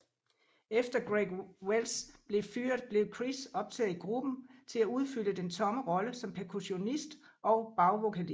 Efter Greg Welts blev fyret blev Chris optaget i gruppen til at udfylde den tomme rolle som percussionist og bagvokalist